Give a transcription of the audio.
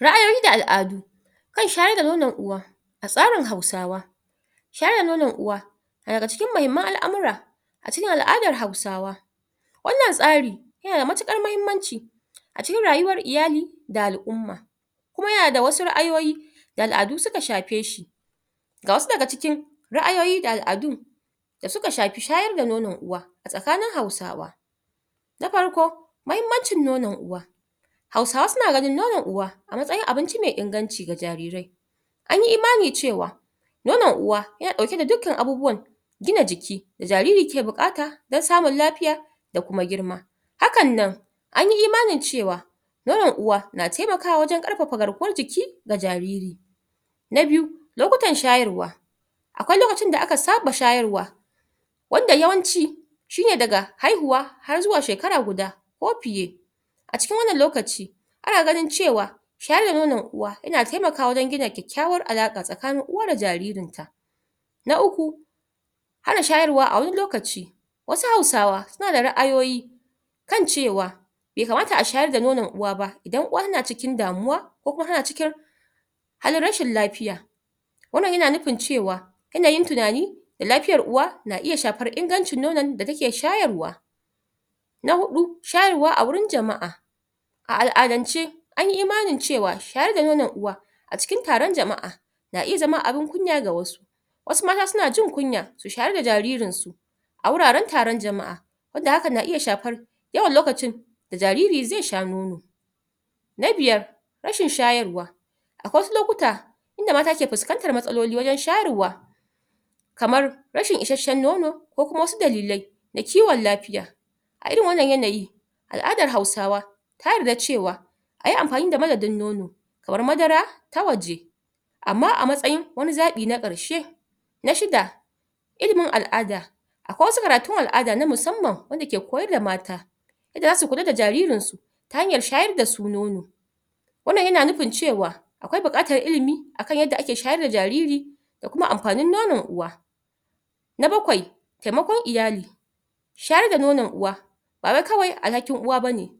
Ra'ayoyi da al'adu kan shayar da nonon uwa a tsarin hausawa shayar da nonon uwa na daga cikin muhimman al'amura a cikin al'adan hausawa wannan tsari yana damatuƙar mahimmanci a cikin rayuwan iyali da al'umma kuma yana da wasu ra'ayoyi da al'adu suka shafe shi ga wasu daga cikin ra'ayoyi da al'adu da suka shafi shayar da nonon uwa a tsakanin hausawa na farko mahimmancin nonon uwa hausawa suna ganin nonon uwa a matsayin abinci mai inganci ga jarirai an yi imani cewa nonon uwa yana ɗauke da dukkan gina jiki da jariri ke buƙata don samun lafiya da kuma girma hakan nan anyi imanin cewa nonon uwa na taimakawa wajen ƙarfafa garkuwan jiki ga jariri na biyu lokutan shayarwa akwai lokutan da aka saba shayarwa wanda yawanci shine daga haihuwa har zuwa shekara guda ko fiye a cikin wannan lokaci ana ganin cewa shayar da nonon uwa yana taimkawa wajen gina kyakkyawan alaƙa tsakanin uwa da jaririn ta na uku hana shayarwa a wani lokaci wasu hausawa wasu da ra'ayoyi kan cewa bai kamata a shayar da nonon uwa ba idan uwa tana cikin damuwa ko kuma tana cikin halin rashin lafiya wannan yana nufi cewa yanayin tunani da lafiyar uwa na iya shafar ingancin nonon da take shayarwa na hudu shayarwa a wurin jama'a a al'adance anyi imanin cewa shayar da nonon uwa a cikin taron jama'a na iya zama abun kunya ga wasu wasu ma har suna jin kunya su shayar da jaririn su a wuraren taron jama'a wanda hakan na iya shafar yawan lokacin da jariri zai sha nono na biyar rashin shayarwa akwai wasu lokuta wanda mata ke fuskantar matsaloli wajen shayarwa kamar rashin isashen nono ko kuma wasu dalilai ga kiwon lafiya a irin wannan yanayi al'adar hausawa har da cewa ayi amfani da madadin nono kamar madara ta waje amma a matsayin wani zaɓi na ƙarshe na shida ilimin al'ada Akwai wasu karatun al'ada na musamman wanda ke koyar da mata yadda zasu kula da jaririn su ta hanyar shayar da su nono wannan yana nufin cewa akwai buƙatar ilimi akan yadda ake shayar da jariri da kuma amfanin nonon uwa na bakwai taimakon iyali shayar da nono uwa ba wai kawai alhakin uwa bane